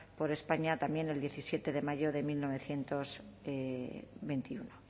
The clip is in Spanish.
por españa también el diecisiete de mayo de mil novecientos veintiuno